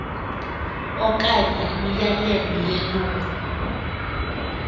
okanye imiyalelo yelungu